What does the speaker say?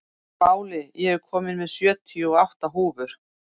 Váli, ég kom með sjötíu og átta húfur!